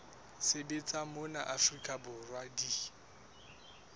sebetsang mona afrika borwa di